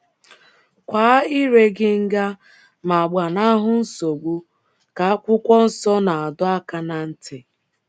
‘ Kwaa ire gị nga ma gbanahụ nsogbu, ’ ka akwụkwọ nsọ na - adọ aka ná ntị.